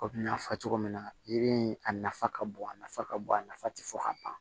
Kɔmi n y'a fɔ cogo min na yiri in a nafa ka bon a nafa ka bon a nafa tɛ fɔ ka ban